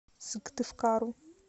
сыктывкару